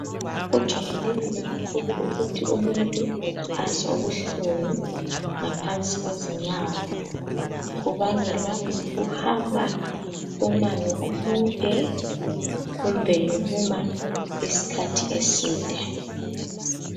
Kujayelekile kakhulu ukuthi umuntu azwe ubuhlungu ngaphansi kwezinyawo kubangelwa yikuhamba umango omude kumbe yikuma isikhathi eside.